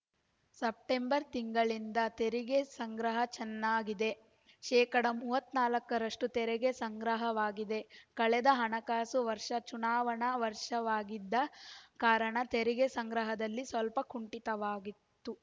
September ತಿಂಗಳಿಂದ ತೆರಿಗೆ ಸಂಗ್ರಹ ಚೆನ್ನಾಗಿದೆ ಶೇಕಡಾ ಮೂವತ್ತ್ ನಾಲ್ಕ ರಷ್ಟುತೆರಿಗೆ ಸಂಗ್ರಹವಾಗಿದೆ ಕಳೆದ ಹಣಕಾಸು ವರ್ಷ ಚುನಾವಣಾ ವರ್ಷವಾಗಿದ್ದ ಕಾರಣ ತೆರಿಗೆ ಸಂಗ್ರಹದಲ್ಲಿ ಸ್ವಲ್ಪ ಕುಂಠಿತವಾಗಿತ್ತು